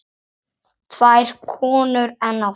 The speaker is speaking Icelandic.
Tvær konur enn á ferð.